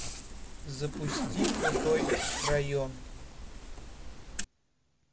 запусти крутой район